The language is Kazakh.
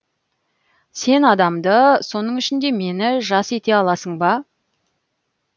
сен адамды соның ішінде мені жас ете аласың ба